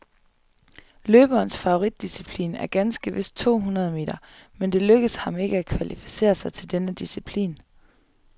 Løberens favoritdisciplin er ganske vist to hundrede meter, men det lykkedes ham ikke at kvalificere sig til denne disciplin.